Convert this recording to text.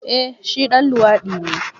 Eh shi ɗan luwadi ne.